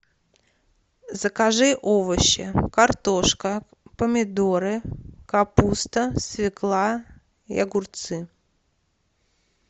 закажи овощи картошка помидоры капуста свекла и огурцы